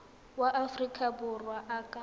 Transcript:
wa aforika borwa a ka